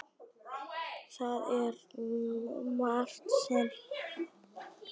Það er margt sem herjar á hjónabandið og sambúðina.